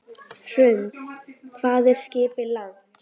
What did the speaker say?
Hrund: Hvað er skipið langt?